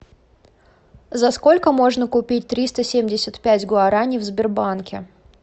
за сколько можно купить триста семьдесят пять гуараней в сбербанке